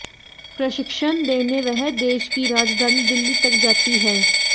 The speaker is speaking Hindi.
प्रशिक्षण देने वह देश की राजधानी दिल्ली तक जाती हैं